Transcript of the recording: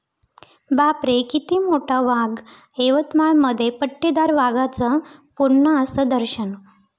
बापरे...किती मोठा वाघ! यवतमाळमध्ये पट्टेदार वाघाचं पुन्हा 'असं' दर्शन